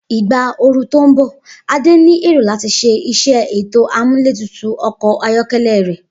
Igba ooru to nbọ, Ade ni ero lati ṣe iṣẹ eto amuletutu ọkọ ayọkẹlẹ rẹ.